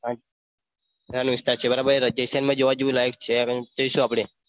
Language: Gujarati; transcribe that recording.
હા રાજસ્થાન છે રાજસ્થાનમાં જોવાલાયક એવું ઘણું બધું છે ત્યાં જઈશું આપણે.